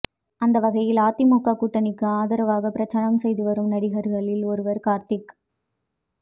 அந்த வகையில் அதிமுக கூட்டணிக்கு ஆதரவாக பிரச்சாரம் செய்து வரும் நடிகர்களில் ஒருவர் நடிகர் கார்த்திக்